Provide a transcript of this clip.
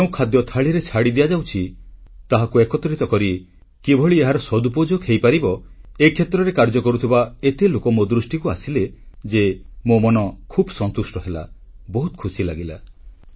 ଯେଉଁ ଖାଦ୍ୟ ଥାଳିରେ ଛାଡି ଦିଆଯାଉଛି ତାହାକୁ ଏକତ୍ରିତ କରି କିଭଳି ଏହାର ସଦୁପଯୋଗ ହୋଇପାରିବ ଏହି କ୍ଷେତ୍ରରେ କାର୍ଯ୍ୟ କରୁଥିବା ଏତେ ଲୋକ ମୋ ଦୃଷ୍ଟିକୁ ଆସିଲେ ଯେ ମୋ ମନ ଖୁବ୍ ସନ୍ତୁଷ୍ଟ ହେଲା ବହୁତ ଖୁସି ଲାଗିଲା